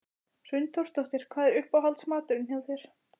Hrund Þórsdóttir: Hvað er uppáhalds maturinn hjá þér?